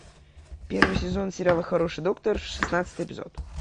первый сезон сериала хороший доктор шестнадцатый эпизод